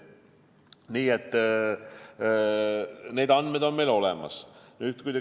Nii et need andmed on meil olemas.